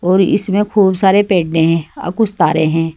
और इसमें खूब सारे पेडे हैं और कुछ तारे हैं।